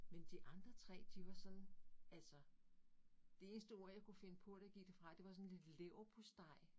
Men de andre 3 de var sådan altså det eneste ord jeg kunne finde på da jeg gik derfra det var sådan lidt leverpostej